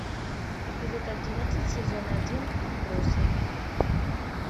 эпизод одиннадцать сезон один отбросы